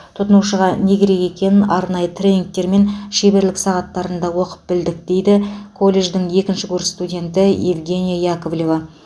тұтынушыға не керек екенін арнайы тренингтер мен шеберлік сағаттарында оқып білдік дейді колледждің екінші курс студенті евгения яковлева